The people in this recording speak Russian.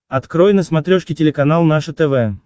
открой на смотрешке телеканал наше тв